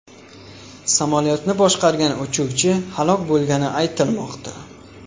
Samolyotni boshqargan uchuvchi halok bo‘lgani aytilmoqda.